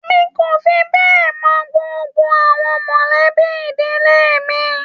Mí kò fí bẹ mọ gbogbo àwọn mọlẹbi ìdílé mí.